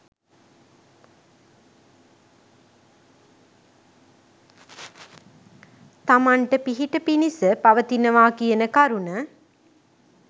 තමන්ට පිහිට පිණිස පවතිනවා කියන කරුණ